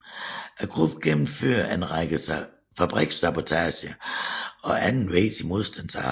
Gruppen gennemførte en række fabrikssabotager og andet vigtigt modstandsarbejde